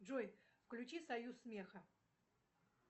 джой включи союз смеха